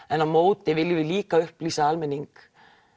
en á móti viljum við líka upplýsa almenning